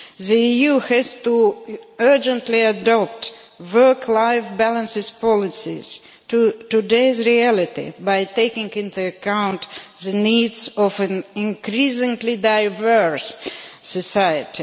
The EU has to urgently adopt work life balance policies today's reality by taking into account the needs of an increasingly diverse society.